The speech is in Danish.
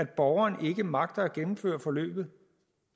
borgeren ikke magter at gennemføre forløbet